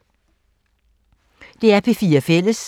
DR P4 Fælles